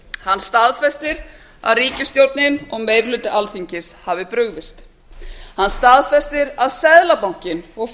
hann staðfestir að ríkisstjórnin og meiri hluti alþingis hafi brugðist hann staðfestir að seðlabankinn og